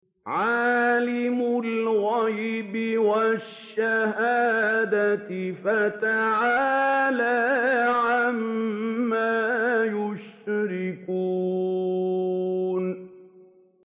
عَالِمِ الْغَيْبِ وَالشَّهَادَةِ فَتَعَالَىٰ عَمَّا يُشْرِكُونَ